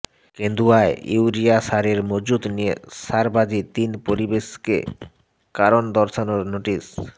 কেন্দুয়ায় urea সারের মজুত নিয়ে কারসাজি তিন পরিবেশককে কারণ দর্শানোর নোটিশ